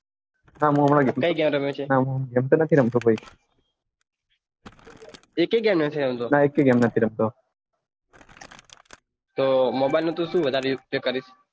કઈ ગેમ રમે છે હા ગેમ તો નથી રમતો એકેય ગેમ નથી રમતો ના એકેય ગેમ નથી રમતો તો mobile નો તું સુ વઘારે ઉપયોગ કરીશ